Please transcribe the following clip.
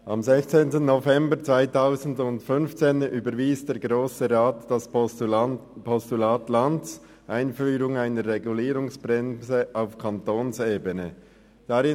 Am 16. November 2015 überwies der Grosse Rat das Postulat Lanz «Einführung einer Regulierungsbremse auf Kantonsebene» .